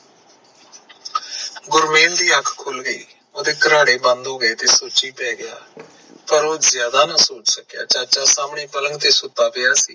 ਗੁਰਮੇਲ ਦੀ ਅੱਖ ਖੁਲ ਗਈ ਓਹਦੇ ਕਰਾੜੇ ਬੰਦ ਹੋ ਗਏ ਤੇ ਉਹ ਸੋਚੀ ਪੈ ਗਯਾ, ਪਰ ਉਹ ਜ਼ਿਆਦਾ ਨਾ ਸੋਚ ਸਕਿਆ ਚਾਚਾ ਸਾਹਮਣੇ ਪਲੰਗ ਤੇ ਸੁਤਾ ਪਿਆ ਸੀ